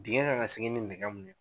Dingɛ kan ka segin ni nɛgɛ min ye